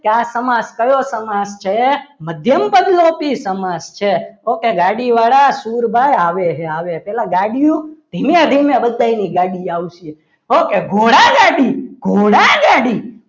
કે આ સમાસ કયો સમાસ છે મધ્યમ પદ લોપી સમાસ છે ઓકે ગાડીવાળા સુરભાઈ આવે હે આવે હે પહેલા ગાડીઓ ધીમે ધીમે બધા એની ગાડી આવશે ઓકે ઘોડાગાડી ઘોડા ગાડી